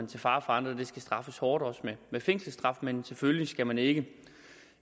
til fare for andre skal straffes hårdt og også med fængselsstraf men selvfølgelig skal man ikke